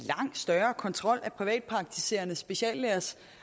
større kontrol af privatpraktiserende speciallægers